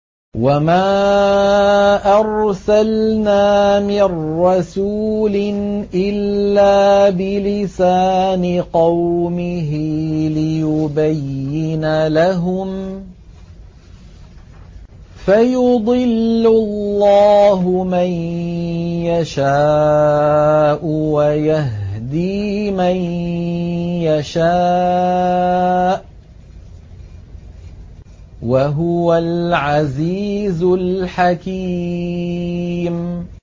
وَمَا أَرْسَلْنَا مِن رَّسُولٍ إِلَّا بِلِسَانِ قَوْمِهِ لِيُبَيِّنَ لَهُمْ ۖ فَيُضِلُّ اللَّهُ مَن يَشَاءُ وَيَهْدِي مَن يَشَاءُ ۚ وَهُوَ الْعَزِيزُ الْحَكِيمُ